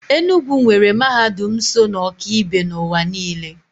Enugwu nwere mahadum so na ọka ibe n'ụwa niile.